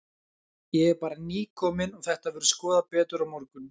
Ég er bara nýkominn og þetta verður skoðað betur á morgun.